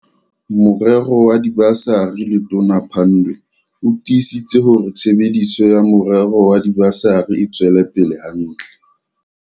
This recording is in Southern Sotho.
Morero wa dibasari Letona Pandor o tiisitse hore tshebediso ya morero wa diba sari e tswela pele hantle.